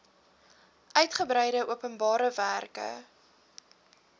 uigebreide openbare werke